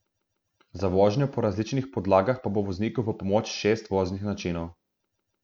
Za vožnjo po različnih podlagah pa bo vozniku v pomoč šest voznih načinov.